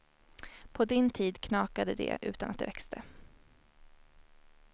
På din tid knakade det utan att det växte.